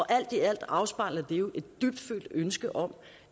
alt i alt afspejler det jo et dybtfølt ønske om